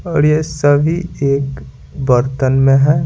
और ये सभी एक बर्तन में है।